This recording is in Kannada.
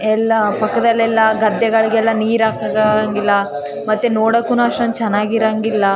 ಎಲ್ಲ ಪಕ್ಕದಲ್ಲೆಲ್ಲ ಗದ್ದೆಗಳಿಗೆಲ್ಲ ನೀರು ಹಾಕಕ ಆಗಂಗಿಲ್ಲ ಮತ್ತೆ ನೋಡೋಕುನು ಅಷ್ಟೊಂದು ಚೆನ್ನಗಿರಂಗಿಲ್ಲ .